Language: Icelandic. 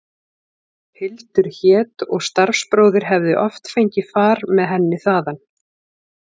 Hildur hét og starfsbróðir hefði oft fengið far með henni þaðan.